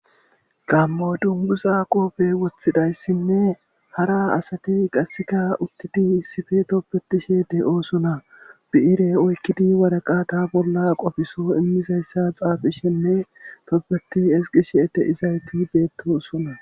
gammo dunguza qoobe wothidayssinne hara asati qasseka uttidi isife tobetishe de7oosona bi7ire oykkidi waraqata bolla qofiso immizayssa xaafishenne tobbeti ezgishe de7izayti beettoosona